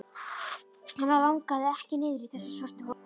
Hana langaði ekki niður í þessa svörtu holu.